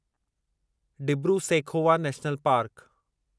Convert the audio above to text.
Dibru Saikhowa national park